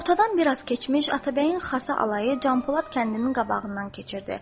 Günortadan biraz keçmiş Atabəyin xasa alayı Canpolad kəndinin qabağından keçirdi.